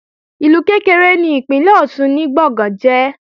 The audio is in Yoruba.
Ìlú kékeré ni ìpínlè Ọ̀ṣun ni Gbọ̀ngán jẹ́